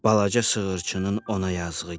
balaca sığırçının ona yazığı gəldi.